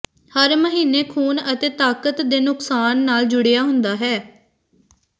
ਹਰ ਮਹੀਨੇ ਖੂਨ ਅਤੇ ਤਾਕਤ ਦੇ ਨੁਕਸਾਨ ਨਾਲ ਜੁੜਿਆ ਹੁੰਦਾ ਹੈ